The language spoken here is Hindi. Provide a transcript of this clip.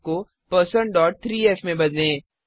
1602f को1603f में बदलें